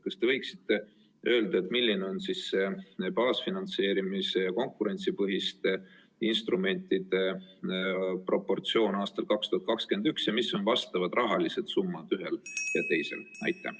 Kas te võiksite öelda, milline on baasfinantseerimise ja konkurentsipõhiste instrumentide proportsioon aastal 2021 ja mis on rahalised summad ühel ja teisel?